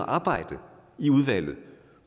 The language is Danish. arbejde i udvalget